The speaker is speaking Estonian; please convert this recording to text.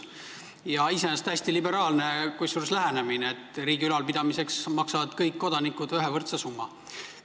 Kusjuures see on iseenesest täiesti liberaalne lähenemine, et riigi ülalpidamiseks maksavad kõik kodanikud võrdse summa.